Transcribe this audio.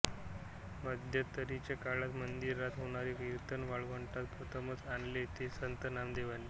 मध्यंतरीच्या काळात मंदिरात होणारे कीर्तन वाळवंटात प्रथमच आणले ते संत नामदेवांनी